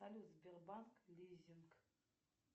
салют сбербанк лизинг